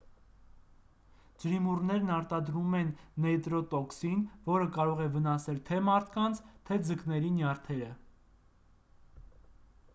ջրիմուռներն արտադրում են նեյրոտոքսին որը կարող է վնասել թե մարդկանց թե ձկների նյարդերը